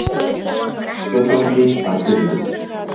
Spyrjandi bætir við:.